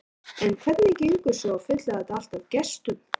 En hvernig gengur svo að fylla þetta allt af gestum?